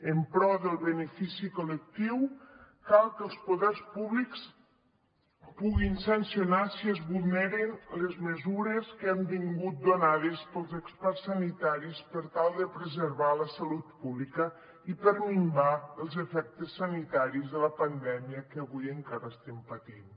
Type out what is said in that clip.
en pro del benefici col·lectiu cal que els poders públics puguin sancionar si es vulneren les mesures que han vingut donades pels experts sanitaris per tal de preservar la salut pública i per minvar els efectes sanitaris de la pandèmia que avui encara estem patint